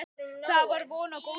Þá var von á góðu.